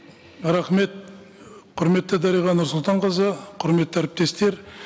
рахмет құрметті дариға нұрсұлтанқызы құрметті әріптестер